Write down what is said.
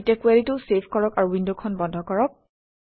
এতিয়া কুৱেৰিটো চেভ কৰক আৰু উইণ্ডখন বন্ধ কৰক